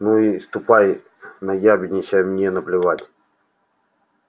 ну и ступай наябедничай мне наплевать